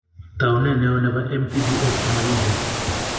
Taunet neo nebo MTBS ko makingen.